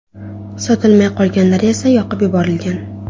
Sotilmay qolganlari esa yoqib yuborilgan.